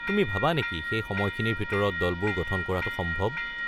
তুমি ভাবা নেকি সেই সময়খিনিৰ ভিতৰত দলবোৰ গঠন কৰাটো সম্ভৱ?